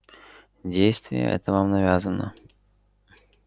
действие это вам навязано